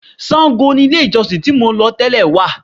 Sango ni ilé-ìjọsìn tí mò ń lọ tẹ́lẹ̀ wà.